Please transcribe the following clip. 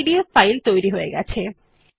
একটি PDF file তৈরি হয়ে গেছে